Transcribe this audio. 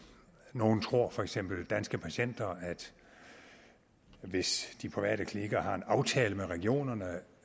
nogle tror for eksempel danske patienter at hvis de private klinikker har en aftale med regionerne